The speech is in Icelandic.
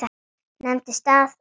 Nefndi stað og stund.